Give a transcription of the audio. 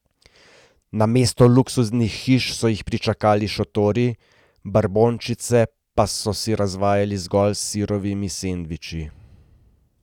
Namesto luksuznih hiš so jih pričakali šotori, brbončice pa so si razvajali zgolj s sirovimi sendviči.